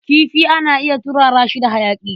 Kifi ana iya turara shi da hayaƙi.